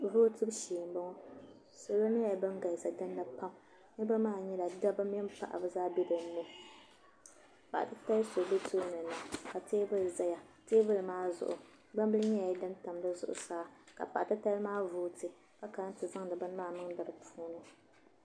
salo nyɛla bin galisi dinni pam niraba maa nyɛla dabba mini paɣaba zaa bɛ dinni paɣa titali so bɛ tooni na ka teebuli ʒɛya teebuli maa zuɣu gbambili nyɛla din tam di zuɣusaa ka paɣa titali maa vooti ka kana ti zaŋdi bini maa niŋdi di zuɣusaa